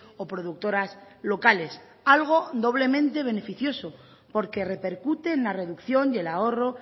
o productoras locales algo doblemente beneficioso porque repercute en la reducción y el ahorro